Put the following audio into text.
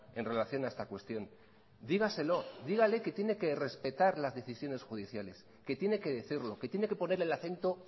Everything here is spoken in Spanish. en relación a esta cuestión dígaselo dígale que tiene que respetar las decisiones judiciales que tiene que decirlo que tiene que poner el acento